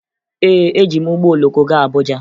Ee, eji m ụgbọ oloko gaa Abuja